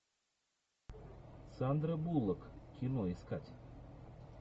сандра буллок кино искать